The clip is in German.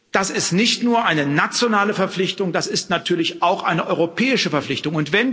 Das ist nicht nur eine nationale Verpflichtung, das ist natürlich auch eine europäische Verpflichtung.